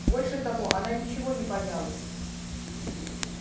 больше того она ничего не боялась